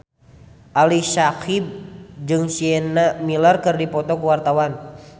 Ali Syakieb jeung Sienna Miller keur dipoto ku wartawan